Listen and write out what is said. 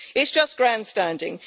It's just grandstanding.